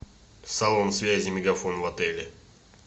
салон связи мегафон в отеле